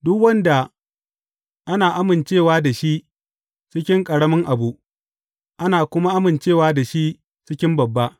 Duk wanda ana amincewa da shi cikin ƙaramin abu, ana kuma amincewa da shi cikin babba.